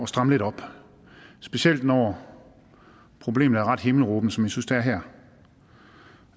stramme lidt op specielt når problemet er ret himmelråbende synes det er her